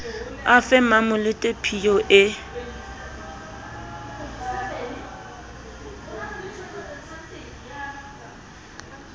a fe mmamolete phiyo e